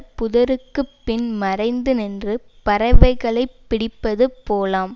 புதருக்குப் பின் மறைந்து நின்று பறவைகளை பிடிப்பது போலாம்